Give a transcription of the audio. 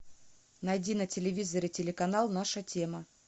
найди на телевизоре телеканал наша тема